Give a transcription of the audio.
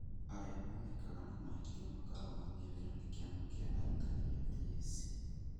Arĩa monekana na mahĩtia makarũgamio wĩra nĩ Kĩama gĩa arutani gĩa TSC